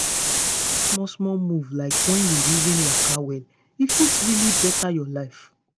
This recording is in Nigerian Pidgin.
just small-small moves like when you reason waka well e fit really better your life.